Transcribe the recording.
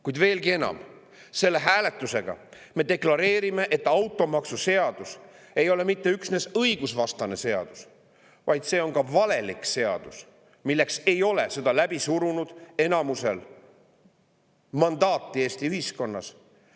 Kuid veelgi enam: selle hääletusega me deklareerime, et automaksuseadus ei ole mitte üksnes õigusvastane seadus, vaid see on ka valelik seadus, milleks ei olnud selle läbi surunud enamusel Eesti ühiskonnas mandaati.